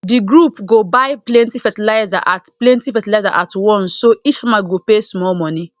the group go buy plenty fertilizer at plenty fertilizer at once so each farmer go pay small money